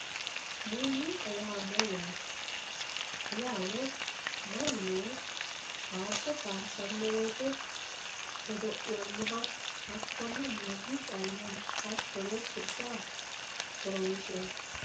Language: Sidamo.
muuziiqa yaa mayyaate? yaano mannu faarso faarsanno woyiite godo'lannoha hakkonne muziiqaho yinanni hattono sirbaho horonsiranno